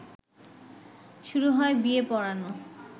শুরু হয় বিয়ে পড়ানো